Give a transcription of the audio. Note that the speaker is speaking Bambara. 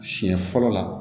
Siɲɛ fɔlɔ la